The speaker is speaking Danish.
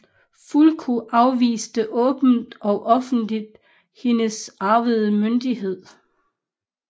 Fulko afviste åbent og offenligt hendes arvede myndighed